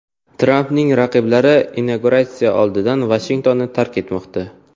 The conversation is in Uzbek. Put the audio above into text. Trampning raqiblari inauguratsiya oldidan Vashingtonni tark etmoqda.